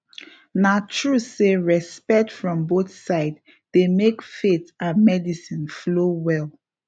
na true say respect from both sides dey make faith and medicine flow well